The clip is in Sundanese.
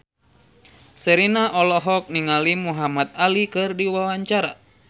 Sherina olohok ningali Muhamad Ali keur diwawancara